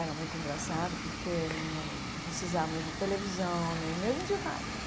Era muito engraçado, porque não precisávamos de televisão, nem mesmo de rádio.